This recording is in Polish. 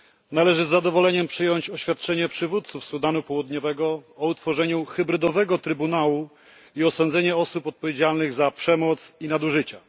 Należy z zadowoleniem przyjąć oświadczenie przywódców Sudanu Południowego o utworzeniu hybrydowego trybunału i osądzenie osób odpowiedzialnych za przemoc i nadużycia.